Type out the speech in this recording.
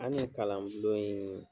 An ɲe kalan bulon in